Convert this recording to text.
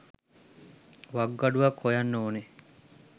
වකුගඩුවක් හොයන්න ඕන.